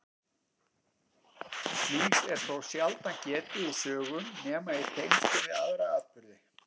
Slíks er þó sjaldan getið í sögum nema í tengslum við aðra atburði.